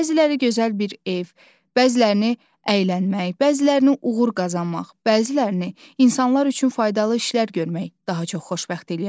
Bəziləri gözəl bir ev, bəzilərini əylənmək, bəzilərini uğur qazanmaq, bəzilərini insanlar üçün faydalı işlər görmək daha çox xoşbəxt eləyə bilər.